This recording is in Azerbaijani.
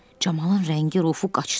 Camalın rəngi-rufu qaçdı.